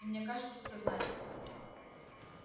и мне кажется сознательно